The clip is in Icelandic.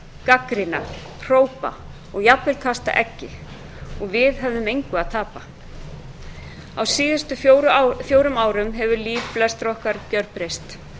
gagnrýna hrópa og jafnvel kasta eggi og við höfðum engu að tapa á síðustu fjórum árum hefur líf flestra okkar gjörbreyst